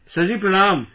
Sir ji Pranaam